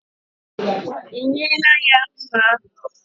Ị nyela ya mma ahụ?